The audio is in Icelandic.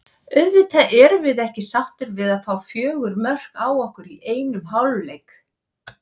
Auðvitað erum við ekki sáttir við að fá fjögur mörk á okkur í einum hálfleik.